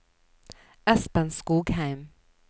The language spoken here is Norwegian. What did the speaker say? Espen Skogheim